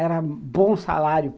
Era bom salário.